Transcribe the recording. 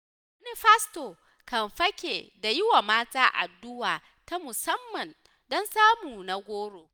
Wani pasto kan fake da yiwa mata addu'a ta musamman, don samun na goro.